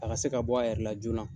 A ka se ka bɔ a yɛrɛ la joona.